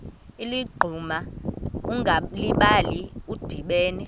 ligquma ungalibali udibene